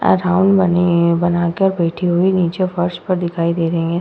Around बनी है बनाकर बैठी हुई नीचे फर्श पर दिखाई दे रही हैं।